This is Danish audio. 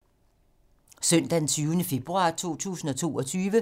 Søndag d. 20. februar 2022